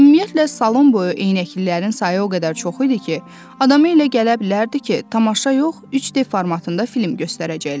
Ümumiyyətlə, salon boyu eynəklilərin sayı o qədər çox idi ki, adama elə gələ bilərdi ki, tamaşa yox, 3D formatında film göstərəcəklər.